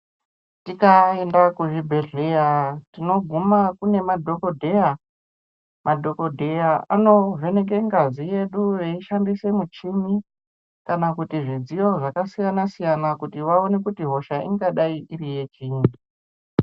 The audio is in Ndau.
Tikaenda kuzvibhehleya tinoguma kune madhokodheya ,madhokodheya anovheneka ngazi yedu eishandise michini kana kuti zvidziyo zvakasiyanasiyana kuti vaone kuti hosha ingadai iri yechinyi.